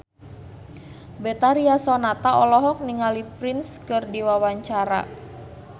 Betharia Sonata olohok ningali Prince keur diwawancara